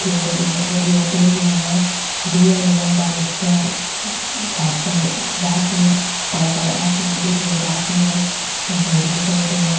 है कोई लुगाया खड़ी है टेबला है दिया जलाई डा है निचे छात पर रात में कालो कालो आसमान दिख रेहो है रात ने झंडो लगाईडाे है।